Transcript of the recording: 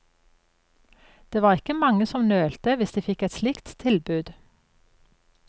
Det var ikke mange som nølte hvis de fikk et slikt tilbud.